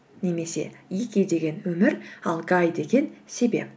немесе ики деген өмір ал гай деген себеп